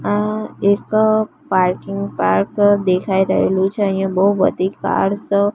આ એક parking park દેખાય રહેલું છે અહીંયા બોવ બધી કાર્સ --